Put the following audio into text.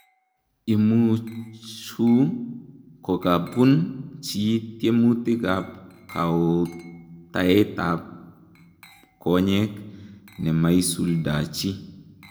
Imuchuu kokakobuun chii tiemutik ap kaoutaet ap konyeek nemaisuldachii